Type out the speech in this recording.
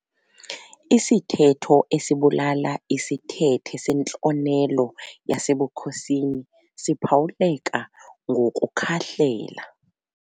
Isithetho esibalula isithethe sentlonelo yasebukhosini siphawuleka ngokukhahlela.